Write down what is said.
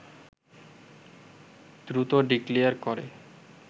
দ্রুত ডিক্লেয়ার করে